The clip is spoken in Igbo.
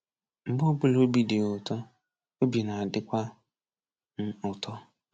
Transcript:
Mgbe ọbụla obi dị ya ụtọ, obi na-adịkwa m ụtọ”